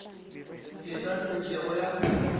e ka se kego ya